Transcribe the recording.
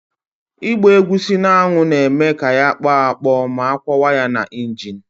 Ịgba egusi n'anwụ na-eme ya ya akpọ akpọ ma akwọwa ya na injin.